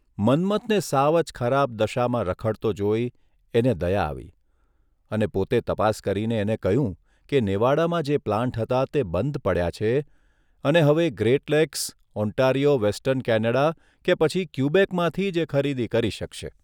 મન્મથને સાવ જ ખરાબ દસામાં રખડતો જોઇ એને દયા આવી અને પોતે તપાસ કરીને એને કહ્યું કે નેવાડામાં જે પ્લાન્ટ હતા તે બંધ પડ્યા છે અને હવે Great Lakes, Ontario western Canada કે પછી ક્યુબેકમાંથી જ એ ખરીદી કરી શકશે.